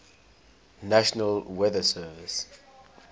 national weather service